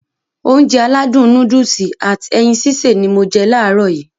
Ounjẹ aládùn nóódùsì at ẹyin sísè ni mo je làárọ̀ yii